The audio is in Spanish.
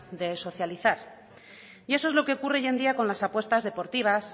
de socializar y eso es lo que ocurre hoy en día con las apuestas deportivas